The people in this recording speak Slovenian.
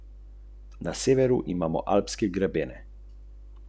Milijon bralcev.